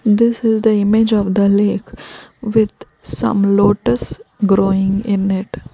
this is the image of the lake with some lotus growing in it.